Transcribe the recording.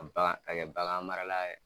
Kabagan ka kɛ bagan marala ye.